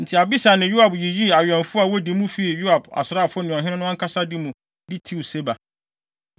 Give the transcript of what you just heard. Enti Abisai ne Yoab yiyii awɛmfo a wodi mu fii Yoab asraafo ne ɔhene no ankasa de mu de tiw Seba.